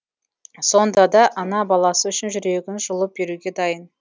сонда да ана баласы үшін жүрегін жұлып беруге дайын